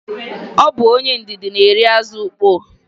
Ọ bụ onye ndidi na-eri azụ ukpoo.